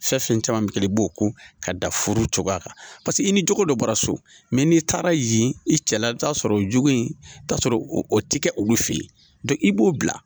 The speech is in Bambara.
Fɛn fɛn caman bɛ kɛ i b'o ko ka da furu cogoya kan paseke i ni cogo dɔ bɔra so mɛ n'i taara yen i cɛ la i bɛ t'a sɔrɔ o jogo in t'a sɔrɔ o tɛ kɛ olu fɛ yen i b'o bila